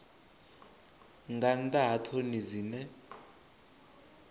nga nnḓa ha ṱhoni dzine